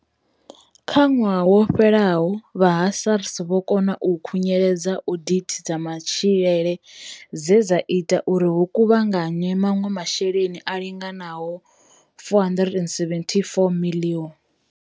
Kha ṅwaha wo fhelaho, vha ha SARS vho kona u khunyeledza odithi dza matshilele dze dza ita uri hu kuvhanganywe maṅwe masheleni a linganaho R474 miḽioni.